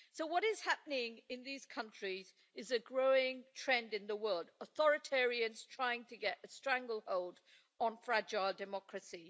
So what is happening in these countries is a growing trend in the world authoritarians trying to get a stranglehold on fragile democracy.